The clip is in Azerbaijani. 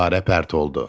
Gülarə pərt oldu.